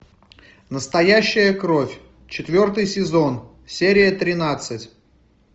настоящая кровь четвертый сезон серия тринадцать